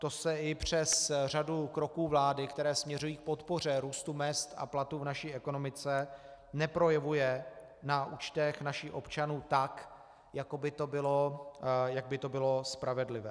To se i přes řadu kroků vlády, které směřují k podpoře růstu mezd a platů v naší ekonomice, neprojevuje na účtech našich občanů tak, jak by to bylo spravedlivé.